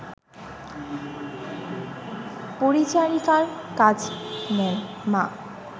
পরিচারিকার কাজ নেন মা